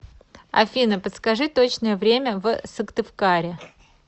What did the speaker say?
афина подскажи точное время в сыктывкаре